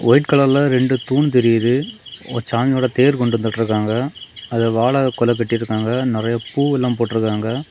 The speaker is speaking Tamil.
ஒயிட் கலர்ல ரெண்டு தூண் தெரியுது சாமியோட தேர் கொண்டு வந்துட்ருக்காங்க அதுல வாழக்கோழை கட்டி இருக்காங்க நிறைய பூவெல்லா போட்ருக்காங்க.